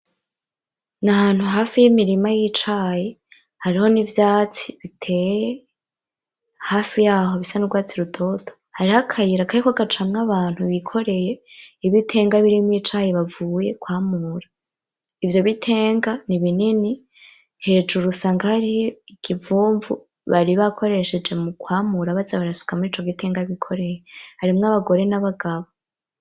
Nahantu hafi y'imirima y'icayi, hariho n'ivyatsi biteye hafi yaho bisa n'ugwatsi rutoto, hariho akayira kariko gacamwo abantu bikoreye ibitenga birimwo icayi bavuye kwamura, ivyo bitenga ni binini, hejuru usanga hariyo ikivumvu bari bakoresheje mu kwamura baza barasuka mur' ico gitenga bikoreye, harimwo abagore n'abagabo.